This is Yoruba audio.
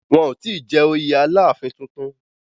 Wọn ò tí jẹ oyè Aláàfin tuntun